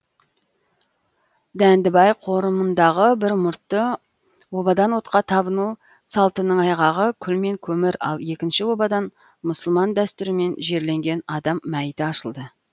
дәндібай қорымындағы бір мұртты обадан отқа табыну салтының айғағы күл мен көмір ал екінші обадан мұсылман дәстүрімен жерленген адам мәйіті ашылды